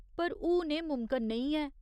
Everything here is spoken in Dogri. पर हून एह् मुमकन नेईं है।